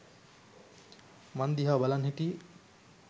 මං දිහා බලන් හිටියෙ.